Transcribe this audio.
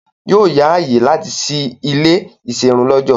Yóò yá ààyè láti sí ilé -ìserun lọ́jọ̀.